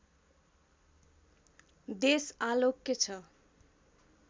देश आलोक्य छ